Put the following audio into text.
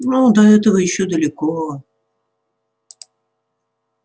ну до этого ещё далеко